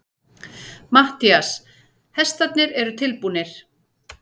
MATTHÍAS: Hestarnir eru tilbúnir.